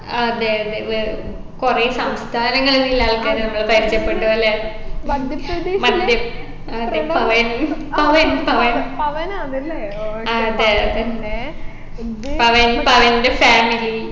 അതെ അതെ വേ കുറെ സംസ്ഥാനങ്ങളിൽ ഇല്ല ആൾക്കാരെയൊക്കെ പരിചയപ്പെട്ടു അല്ലെ മധ്യ അതെ പവൻ പവൻ പവൻ അതെ പവൻ പവൻെറ family